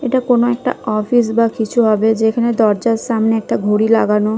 এটা কোনো একটা একটা অফিস বা কিছু হবে যেখানে দরজার সামনে একটা ঘড়ি লাগানো ।